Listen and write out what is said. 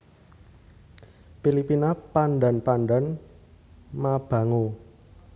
Pilipina Pandan Pandan mabango